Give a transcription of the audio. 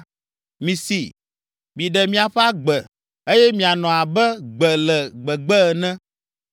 Misi! Miɖe miaƒe agbe eye mianɔ abe gbe le gbegbe ene.